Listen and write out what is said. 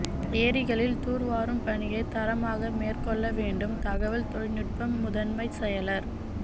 ஏரிகளில் தூா்வாரும் பணியை தரமாக மேற்கொள்ள வேண்டும் தகவல் தொழில்நுட்ப முதன்மைச் செயலா்